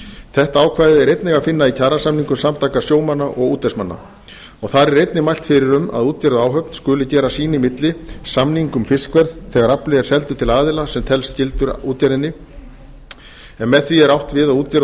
þetta ákvæði er einnig að finna í kjarasamningum samtaka sjómanna og útvegsmanna og þar er einnig mælt fyrir um að útgerð og áhöfn skuli gera sín í milli samning um fiskverð þegar afli er seldur til aðila sem telst skyldur útgerðinni en með því er átt við að útgerð og